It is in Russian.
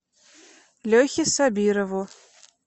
лехе сабирову